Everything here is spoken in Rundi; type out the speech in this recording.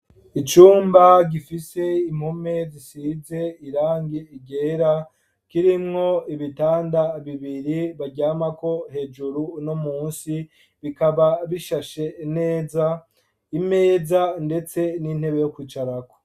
Icumba, gifise impome zisize irangi ryera, kirimwo ibitanda bibiri baryamako, hejuru no munsi, bikaba bishashe neza; imeza, ndetse n'intebe yo kwicarako.